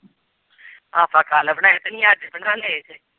ਆਪਾਂ ਕੱਲ੍ਹ ਬਣਾਏ ਤੁਸੀਂ ਅੱਜ ਬਣਾ ਲਏ ਜੇ।